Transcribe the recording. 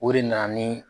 O de nana ni